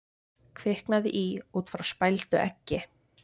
Kviknaði í út frá spældu eggi